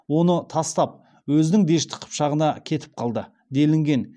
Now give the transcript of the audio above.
оны тастап өзінің дешті қыпшағына кетіп қалды делінген